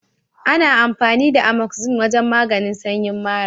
Ana amfani da Amoxin wajen maganin sanyin mara.